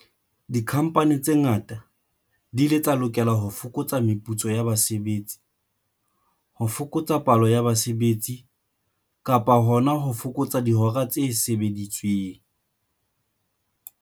Dikhamphani tse ngata di ile tsa lokela ho fokotsa meputso ya basebetsi, ho fokotsa palo ya basebetsi kapa hona ho fokotsa dihora tse sebeditsweng.